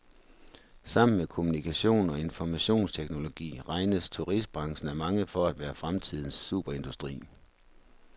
Sammen med kommunikation og informationsteknologi regnes turistbranchen af mange for at være fremtidens superindustri.